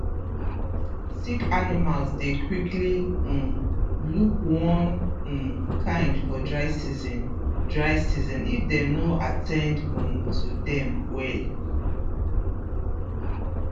sick animals dey quickly um look one um kind for dry season dry season if dem no at ten d um to dem well